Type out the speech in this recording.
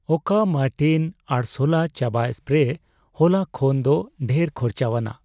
ᱚᱠᱟ ᱢᱚᱨᱴᱮᱭᱤᱱ ᱟᱲᱥᱞᱟ ᱪᱟᱵᱟ ᱥᱯᱨᱮ ᱦᱚᱞᱟ ᱠᱷᱚᱱᱫᱚ ᱰᱷᱮᱨ ᱠᱷᱚᱨᱪᱟᱣᱟᱱᱟᱜ